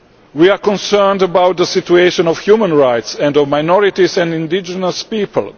We are concerned about the situation of human rights and those of minorities and indigenous people.